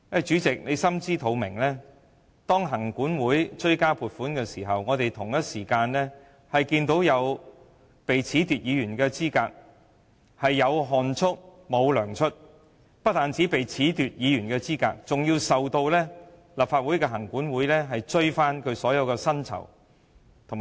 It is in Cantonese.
主席應該心知肚明，行管會要追加撥款的同時，有議員被褫奪資格，他們"有汗出，無糧出"，不單被褫奪議員資格，更被立法會行管會追討所有薪酬及開支。